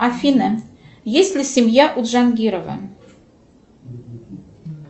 афина есть ли семья у джангирова